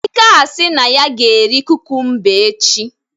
Ike asi na ya ga eri kukumba echi